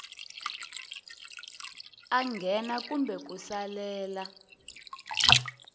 a nghena kumbe ku salela